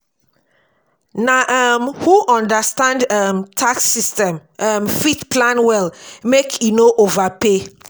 na um who understand um tax system um fit plan well make e no overpay.